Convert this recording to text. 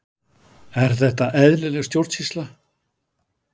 Er þetta eðlileg stjórnsýsla?